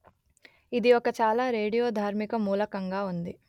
ఇది ఒక చాలా రేడియోధార్మిక మూలకంగా ఉంది